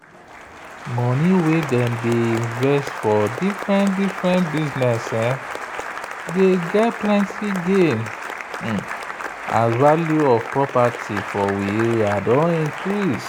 money wey dem invest for different-different business dey get plenty gain as value of property for we area don increase.